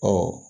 Ɔ